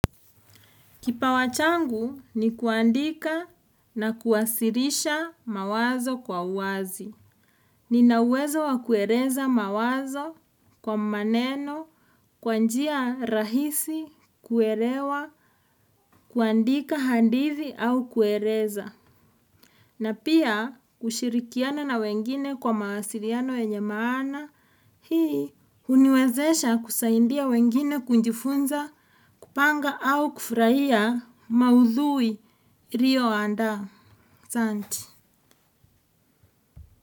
Kipawa changu ni kuandika na kuwasilisha mawazo kwa uwazi. Nina uwezo wa kueleza mawazo kwa maneno, kwa njia rahisi, kuelewa, kuandika handithi au kueleza. Na pia kushirikiana na wengine kwa mawasiliano yenye maana hii. Huniwezesha kusaidia wengine kujifunza kupanga au kufurahia maudhui ilio andaa asanti.